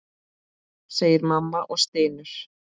segir mamma og stynur.